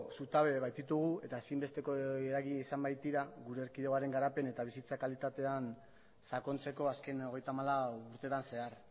zutabe baititugu eta ezin besteko eragile izan baitira gure erkidegoaren garapen eta bizitza kalitatean sakontzeko azken hogeita hamalau urteetan zehar